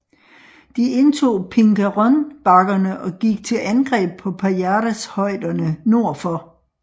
De indtog Pingarrón bakkerne og gik til angreb på Pajares højderne nordfor